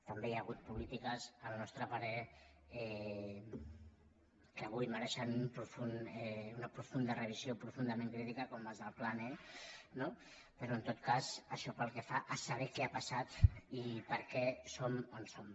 també hi ha hagut polítiques al nostre parer que avui mereixen una profunda revisió profundament crítica com les del plan e no però en tot cas això pel que fa a saber què ha passat i per què som on som